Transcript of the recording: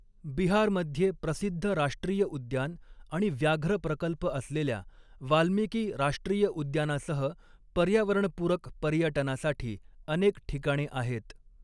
बिहारमध्ये प्रसिद्ध राष्ट्रीय उद्यान आणि व्याघ्र प्रकल्प असलेल्या वाल्मिकी राष्ट्रीय उद्यानासह पर्यावरणपूरक पर्यटनासाठी अनेक ठिकाणे आहेत.